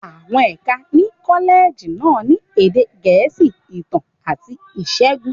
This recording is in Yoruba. Àwọn ẹ̀ka ní kọ́lẹ́ẹ̀jì náà ni Èdè Gẹ̀ẹ́sì, Ìtàn, àti Ìṣègùn.